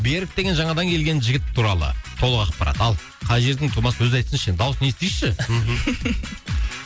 берік деген жаңадан келген жігіт туралы толық ақпарат ал қай жердің тумасы өзі айтсыншы енді дауысын естиікші мхм